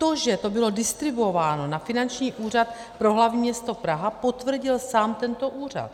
To, že to bylo distribuováno na Finanční úřad pro hlavní město Praha, potvrdil sám tento úřad.